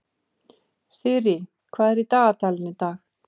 Þyrí, hvað er í dagatalinu í dag?